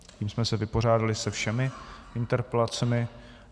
Tím jsme se vypořádali se všemi interpelacemi.